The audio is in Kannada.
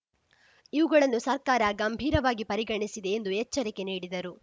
ಇವುಗಳನ್ನು ಸರ್ಕಾರ ಗಂಭೀರವಾಗಿ ಪರಿಗಣಿಸಿದೆ ಎಂದು ಎಚ್ಚರಿಕೆ ನೀಡಿದರು